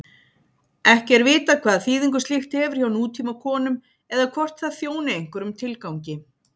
Ekki er vitað hvaða þýðingu slíkt hefur hjá nútímakonum eða hvort það þjóni einhverjum tilgangi.